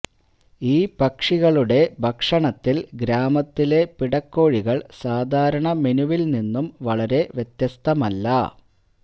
ഈ പക്ഷികളുടെ ഭക്ഷണത്തിൽ ഗ്രാമത്തിലെ പിടക്കോഴികൾ സാധാരണ മെനുവിൽ നിന്നും വളരെ വ്യത്യസ്തമല്ല